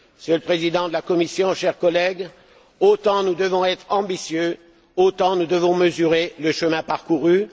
Monsieur le Président de la Commission, chers collègues, si nous devons être ambitieux, nous devons également mesurer le chemin parcouru.